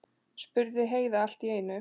spurði Heiða allt í einu.